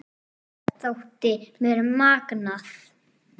Þetta þótti mér magnað.